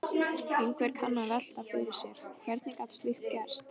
Einhver kann að velta fyrir sér: Hvernig gat slíkt gerst?